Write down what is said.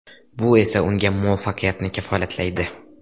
Bu esa unga muvaffaqiyatni kafolatlaydi.